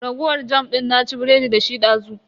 Raguwar jam din na ci biredi dashi dazu.